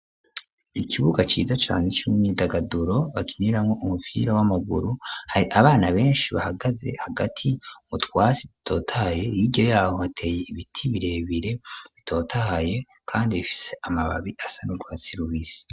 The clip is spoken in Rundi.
Ikibuga ciza cane c'umyidagaduro bakiniramwo umupira w'amaguru hari abana beshi bahagaze hagati mu twatsi dutotaye hirya yaho hateye ibiti birebere bitotahaye kandi bifise amababi asanurwatsi rubisi.